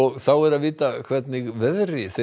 þá er að vita hvernig veðri þeir